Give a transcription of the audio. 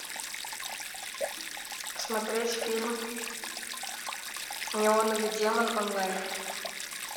смотреть фильм неоновый демон онлайн